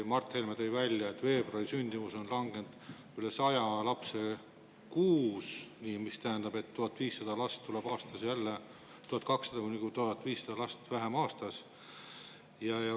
Mart Helme tõi välja, et veebruari sündimus enam kui 100 lapse võrra, mis tähendab, et jälle tuleb aastas 1200–1500 last vähem.